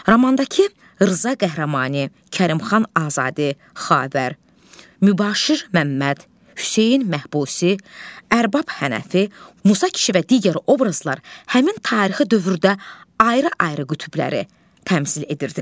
Romandakı Rza qəhrəmanı, Kərimxan Azadi, Xavər, Mübaşir Məmməd, Hüseyn Məhbusi, Ərbab Hənəfi, Musa kişi və digər obrazlar həmin tarixi dövrdə ayrı-ayrı qütbləri təmsil edirdilər.